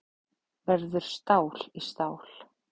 Verður stál í stál